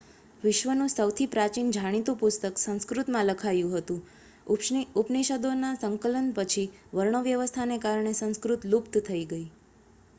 વિશ્વનું સૌથી પ્રાચીન જાણીતું પુસ્તક સંસ્કૃતમાં લખાયું હતું ઉપનિષદોના સંકલન પછી વર્ણવ્યવસ્થાને કારણે સંસ્કૃત લુપ્ત થઈ ગઈ